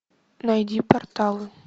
найди порталы